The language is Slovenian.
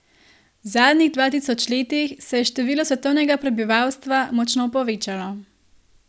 V zadnjih dva tisoč letih se je število svetovnega prebivalstva močno povečalo.